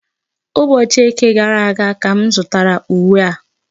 Ụbọchị Eke gara aga ka m zụtara uwe a.